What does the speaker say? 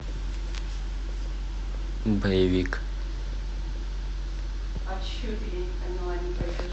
боевик